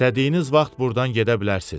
İstədiyiniz vaxt burdan gedə bilərsiniz.